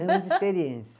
de experiência.